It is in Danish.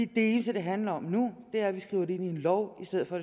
det eneste det handler om nu er at vi skriver det ind i en lov i stedet for